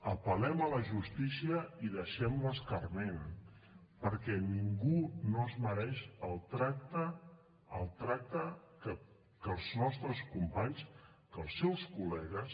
apel·lem a la justícia i deixem l’escarment perquè ningú no es mereix el tracte que els nostres companys que els seus collegues